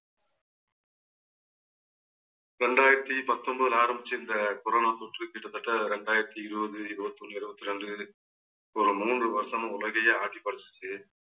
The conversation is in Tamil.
ரெண்டாயிரத்தி பத்தொன்பதுல ஆரம்பிச்ச இந்த corona தொற்று கிட்டத்தட்ட இரண்டாயிரத்தி இருவது இருவத்தி ஒண்ணு இருவத்தி ரெண்டு ஒரு மூன்று வருஷமா உலகையே ஆட்டி படைச்சிச்சு